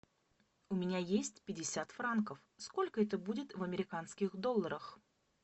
у меня есть пятьдесят франков сколько это будет в американских долларах